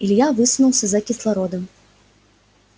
илья высунулся за кислородом